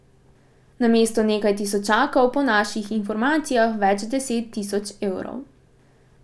Namesto nekaj tisočakov po naših informacijah več deset tisoč evrov.